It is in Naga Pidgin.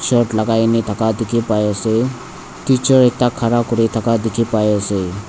shirt lagai na thaka dikhi pai ase teacher ekta khara kuri thaka dikhi pai ase.